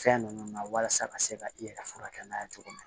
Fɛn ninnu na walasa ka se ka i yɛrɛ furakɛ n'a ye cogo min na